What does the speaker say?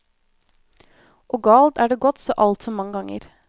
Og galt er det gått så altfor mange ganger.